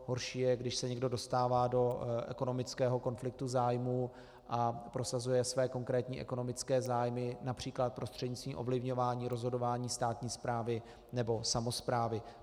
Horší je, když se někdo dostává do ekonomického konfliktu zájmů a prosazuje své konkrétní ekonomické zájmy například prostřednictvím ovlivňování rozhodování státní správy nebo samosprávy.